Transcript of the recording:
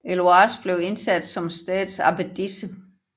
Heloïse blev indsat som stedets abbedisse